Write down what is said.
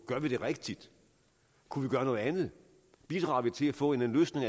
gør vi det rigtigt kunne vi gøre noget andet bidrager vi til at få en løsning